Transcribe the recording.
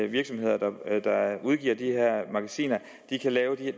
virksomheder der udgiver de her magasiner kan lave